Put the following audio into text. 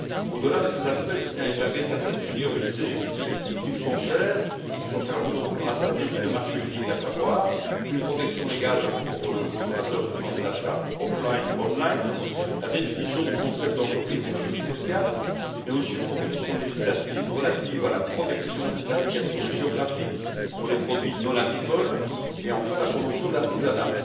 Au delà de ces aspects, je tiens à épingler certaines priorités qui me sont chères, et qui sont chères à notre groupe, dans la stratégie pour le marché unique, à savoir une protection égale pour le consommateur faisant des achats en ligne ou hors ligne, la définition du concept d'entreprise d'économie sociale, mais aussi une proposition législative relative à la protection des indications géographiques pour les produits non agricoles et, enfin, la promotion de l'artisanat.